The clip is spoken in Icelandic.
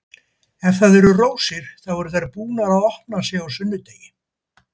Ef það eru rósir, þá eru þær búnar að opna sig á sunnudegi.